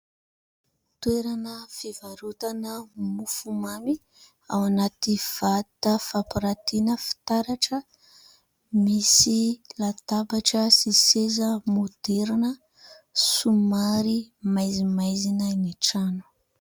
Toerana fivarotana mofomamy ao anaty vata fampirantiana fitaratra, misy latabatra sy seza moderna somary maizimaizina ny trano.